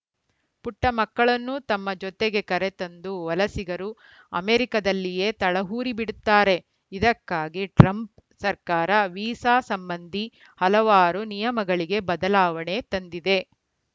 ಪುಟ್ಟಮಕ್ಕಳನ್ನೂ ತಮ್ಮ ಜೊತೆಗೆ ಕರೆತಂದು ವಲಸಿಗರು ಅಮೆರಿಕದಲ್ಲಿಯೇ ತಳವೂರಿಬಿಡುತ್ತಾರೆ ಇದಕ್ಕಾಗಿ ಟ್ರಂಪ್‌ ಸರ್ಕಾರ ವೀಸಾ ಸಂಬಂಧಿ ಹಲವಾರು ನಿಯಮಗಳಿಗೆ ಬದಲಾವಣೆ ತಂದಿದೆ